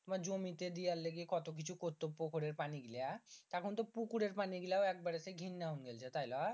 তোমার জমি তে দেওয়ার লেগি কত কিছু কর্তব্য করে পানি গীলা এখন তো পুকুরের পানি গীলা ঘিন্না হয়ে গাছে তাই না